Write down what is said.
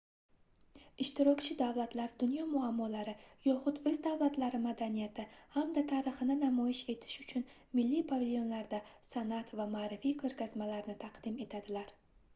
ishtirokchi davlatlar dunyo muammolari yoxud oʻz davlatlari madaniyati hamda tarixini namoyish etish uchun milliy pavilionlarda sanʼat va maʼrifiy koʻrgazmalarni taqdim etadilar